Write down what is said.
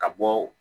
Ka bɔ